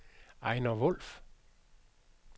Ejner Wulff